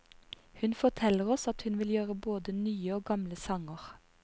Hun forteller oss at hun vil gjøre både nye og gamle sanger.